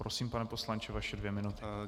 Prosím, pane poslanče, vaše dvě minuty.